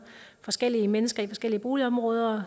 forskellige mennesker i forskellige boligområder